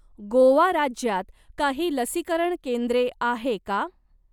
गोवा राज्यात काही लसीकरण केंद्रे आहे का?